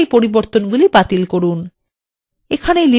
আবার এই পরিবর্তনগুলি বাতিল করুন